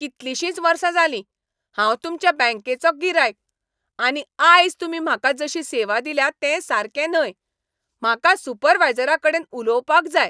कितलीशींच वर्सां जाली, हांव तुमच्या बँकेचो गिरायक, आनी आयज तुमी म्हाका जशी सेवा दिल्या तें सारकें न्हय. म्हाका सुपरवायजराकडेन उलोवपाक जाय!